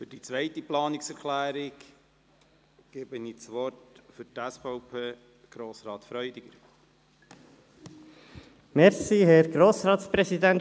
Für die zweite Planungserklärung, jene der SVP, gebe ich Grossrat Freudiger das Wort.